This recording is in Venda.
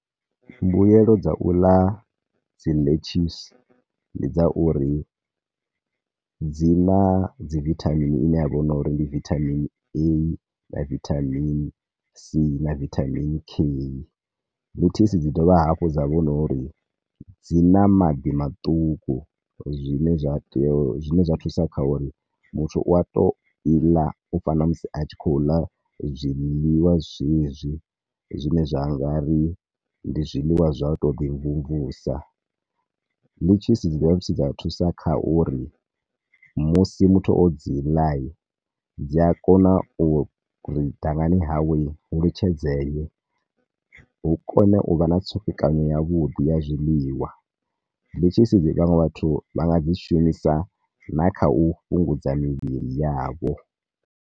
Mbuelo dza u ḽa dzi lettuce ndi dza uri, dzina na dzi vitamin ine ya vha hu no uri ndi vitamin A, na vitamin c, na vitamin K. Letucce dzi dovha hafhu dza vha hu no uri dzi na maḓi maṱuku zwine zwa tea u, zwine zwa thusa kha uri, muthu u a to i ḽa, u fana na musi a tshi khou ḽa zwiḽiwa zwezwi zwine zwa ngari ndi zwiḽiwa zwo to ḓi mvumvusa. Lettuce dzi dovha futhi dza thusa kha uri musi muthu o dzi ḽa, dzi a kona uri dangani hawe hu litshedze e, hu kone u vha na ṱsukekanyo ya vhuḓi ya zwiḽiwa. Lettuce dzi vhaṅwe vhathu vha nga dzi shumisa na kha u fhungudza mivhili yavho.